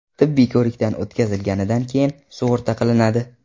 Tibbiy ko‘rikdan o‘tkazilganidan keyin sug‘urta qilinadi.